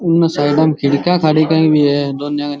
उन साइडा मे खिड़कियां खाड़क्‍या भी है दोन्‍या।